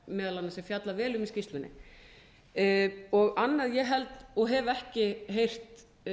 meðal annars er fjallað vel um í skýrslunni annað ég held og hef ekki heyrt